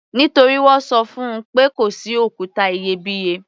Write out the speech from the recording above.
Nítorí wọ́n ṣọ fún -un wí pé kò sí òkúta iyebíye.